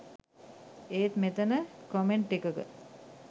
ඒත් මෙතන කමෙන්ට් එකක